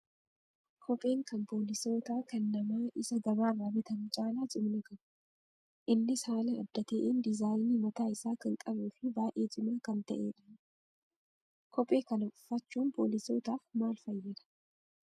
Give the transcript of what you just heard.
Kopheen kan poolisootaa kan namaa Isa gabaarraa bitamu caalaa cimina qaba. Innis haala adda ta'een diizaayinii mataa isaa kan qabuu fi baay'ee cimaa kan ta'edha. Kophee kana uffachuun poolisootaaf maal fayyada?